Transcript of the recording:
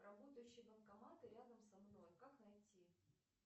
работающие банкоматы рядом со мной как найти